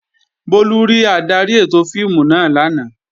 Bólú rí adarí ètò fíìmù náà lánàá